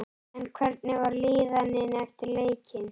En hvernig var líðanin eftir leikinn?